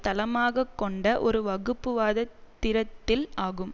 தளமாக கொண்ட ஒரு வகுப்புவாத திரித்தில் ஆகும்